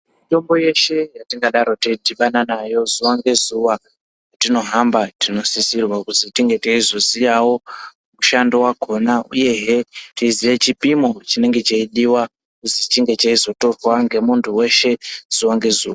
Mitombo yeshe yetingadaro teidhibana nayo zuwa ngezuwa kwetinohamba ,tinosisira kuzi tinge teizoziyawo mushando wakhona uyehe teiziya chipimo chinenge cheidiwa kuzi chinge cheitorwa ngemunthu weshe zuwa ngezuwa.